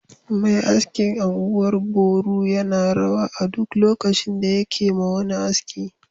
Mai askin anguwan Boru yana rawa a duk lokaci da yakema wani aski